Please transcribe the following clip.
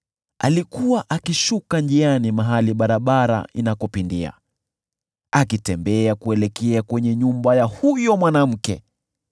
Alikuwa akishuka njiani karibu na pembe ya kwake, akielekea kwenye nyumba ya huyo mwanamke